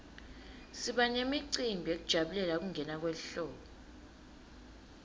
siba nemicimbi yekujabulela kungena kwelihlobo